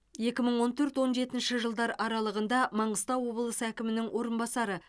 екі мың он төрт он жетінші жылдар аралығында маңғыстау облысы әкімінің орынбасары